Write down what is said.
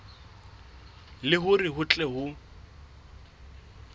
le hore ho tle ho